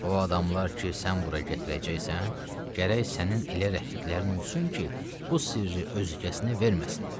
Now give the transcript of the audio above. O adamlar ki, sən bura gətirəcəksən, gərək sənin elə rəfiqlərin olsun ki, bu sirri özgəsinə verməsinlər.